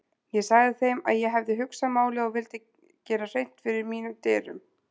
Ég sagði þeim að ég hefði hugsað málið og vildi gera hreint fyrir mínum dyrum.